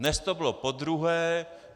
Dnes to bylo podruhé.